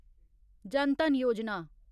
जन धन योजना